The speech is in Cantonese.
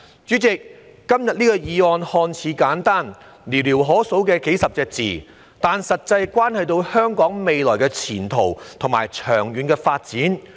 主席，今天的議案看似簡單，只有寥寥可數的數十個字，但實際上關乎香港的未來前途和長遠發展。